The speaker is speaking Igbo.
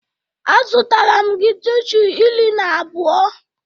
Azụtara m gị tishu iri na abụọ.